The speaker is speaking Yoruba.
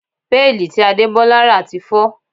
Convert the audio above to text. Péèlì tí Adebola rà ti fọ́